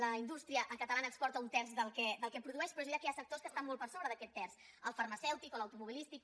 la indústria catalana exporta un terç del que produeix però és veritat que hi ha sectors que estan molt per sobre d’aquest terç el farmacèutic o l’automobilístic